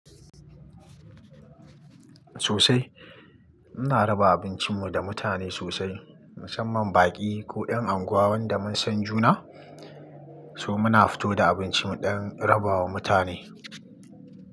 Sosai. Ina raba abincin mu da mutane sosai musamman baƙi ko 'yan anguwan wanda mun san juna, so muna fito da abincin mu ɗon rabawa mutane.